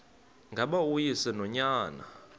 ngaba uyise nonyana